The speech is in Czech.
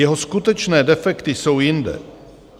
Jeho skutečné defekty jsou jinde.